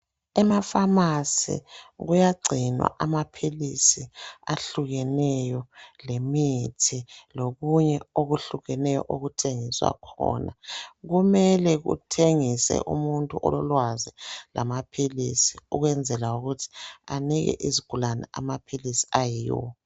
Emapharmacy kuyagcinwa amaphilisi ahlukeneyo, lemithi. Lokunye okuhlukeneyo, okuthengiswa khona. Kumele kuthengise umuntu ololwazi lamaphilisi, ukwenzela ukuthi, anike izigulane amaphilisi ayiwo.